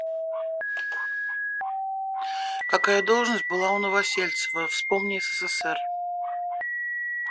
какая должность была у новосельцева вспомни ссср